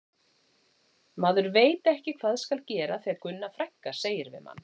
Maður veit ekki hvað skal gera þegar Gunna frænka segir við mann